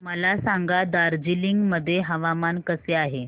मला सांगा दार्जिलिंग मध्ये हवामान कसे आहे